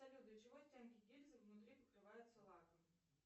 салют для чего стенки гильзы внутри покрываются лаком